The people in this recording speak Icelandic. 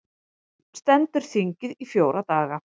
Stendur þingið í fjóra daga